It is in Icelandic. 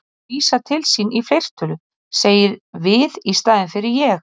Hann vísar til sín í fleirtölu, segir við í staðinn fyrir ég.